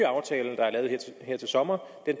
sommer